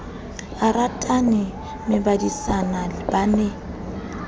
a ratane mmebadisana ba ne